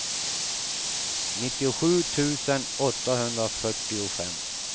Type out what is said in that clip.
nittiosju tusen åttahundrafyrtiofem